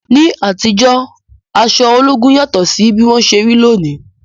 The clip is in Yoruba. Ní àtijọ́, aṣọ ológun yàtọ̀ sí bí wọ́n ṣe rí lónìí.